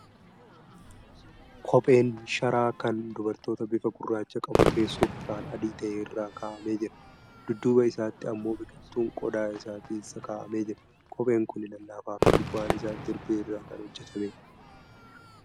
Kopheen sharaa kan dubartootaa bifa gurraacha qabu, teessoo bifaan adii ta'e irra kaa'amee jira. Dudduuba isaatti ammoo biqiltuun qodaa isaa keessa kaa'amee jira. Kopheen kuni lallafaa fi gubbaan isaa jirbii irraa kan hojjatameedha.